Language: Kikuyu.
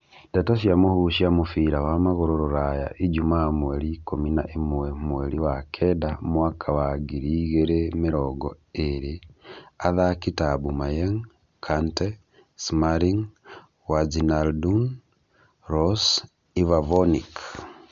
Ndeto cia mũhuhu cia mũbira wa magũrũ Rũraya ijumaa mweri ikũmi na ĩmwe mweri wa kenda mwaka wa ngiri igĩrĩ mĩrongo ĩrĩ athaki ta Aubameyang, Kante, Smalling, Wijnaldum, Rose, Ivavonic